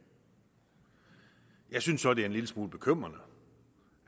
jeg synes så det er en lille smule bekymrende